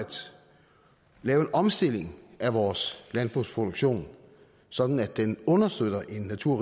lave en omstilling af vores landbrugsproduktion sådan at den understøtter en natur